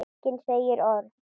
Enginn segir orð.